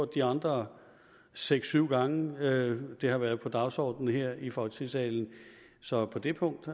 de andre seks syv gange det har været på dagsordenen her i folketingssalen så på det punkt